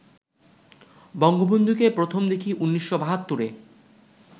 বঙ্গবন্ধুকে প্রথম দেখি ১৯৭২-এ